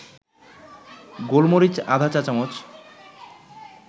গোলমরিচ আধা চা-চামচ